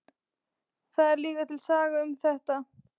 Það er líka til saga um þetta.